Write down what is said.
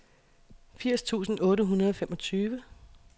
firs tusind otte hundrede og femogtyve